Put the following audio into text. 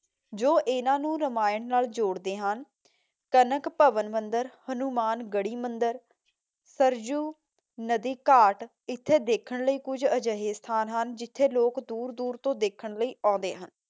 ਜੋ ਇਹਨਾਂ ਨੂੰ ਰਾਮਾਇਣ ਨਾਲ ਜੋੜਦੇ ਹਨ। ਕਨਕ ਭਵਨ ਮੰਦਰ, ਹਨੂਮਾਨ ਗੜ੍ਹੀ ਮੰਦਰ, ਸਰਯੂ ਨਦੀ ਘਾਟ ਇੱਥੇ ਦੇਖਣ ਲਈ ਕੁੱਝ ਅਜਿਹੇ ਸਥਾਨ ਹਨ, ਜਿਥੇ ਲੋਕ ਦੂਰ ਦੂਰ ਤੋਂ ਦੇਖਣ ਲਈ ਆਉਂਦੇ ਹਨ।